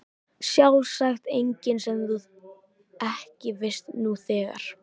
Sjálfsagt engin sem þú ekki veist nú þegar.